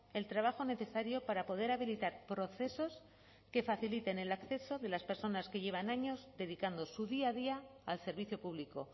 el trabajo necesario para poder habilitar procesos que faciliten el acceso de las personas que llevan años dedicando su día a día al servicio público